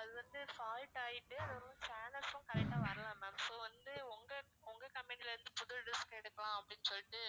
அது வந்து fault ஆயிட்டு அதோடவும் channels உம் correct ஆ வரல ma'am so வந்து உங்க உங்க company ல இருந்து புது dish எடுக்கலாம் அப்படின்னு சொல்லிட்டு